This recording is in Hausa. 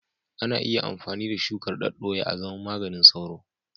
Ana iya amfani da shukar daddoya azaman maganin sauro.